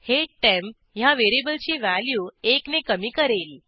हे टेम्प ह्या व्हेरिएबलची व्हॅल्यू एक ने कमी करेल